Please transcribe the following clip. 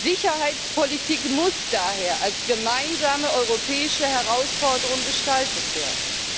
Sicherheitspolitik muss daher als gemeinsame europäische Herausforderung gestaltet werden.